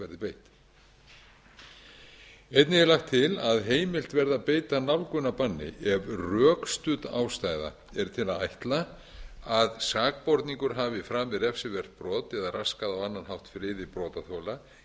beitt einnig er lagt til að heimilt verði að beita nálgunarbanni ef rökstudd ástæða er til að ætla að sakborningur hafi framið refsivert brot eða raskað á annan hátt friði brotaþola